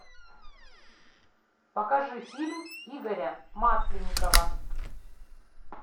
покажи фильм игоря масленникова